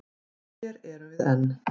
Og hér erum við enn.